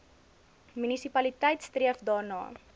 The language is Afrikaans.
munisipaliteit streef daarna